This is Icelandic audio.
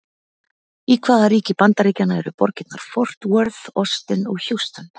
Í hvaða ríki Bandaríkjanna eru borgirnar Fort Worth, Austin og Houston?